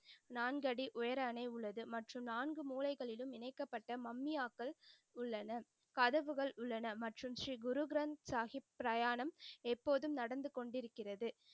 நான்கு அடி உயர அணை உள்ளது மற்றும் நான்கு மூலைகளிலும் இணைக்கப்பட்ட மம்மியாக்கள் உள்ளன. கதவுகள் உள்ளன. மற்றும் ஸ்ரீ குரு கிரந்த் சாஹிப் பிரயாணம் எப்போதும் நடந்து கொண்டு இருக்கிறது.